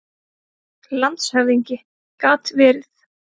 LANDSHÖFÐINGI: Gat verið.